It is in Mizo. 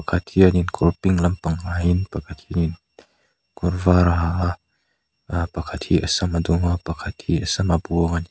pakhat hianin kawr pink lampang ha in pakhat hianin kawr var a ha a aa pakhat hi a sam a dum a pakhat hi a sam a buang a ni.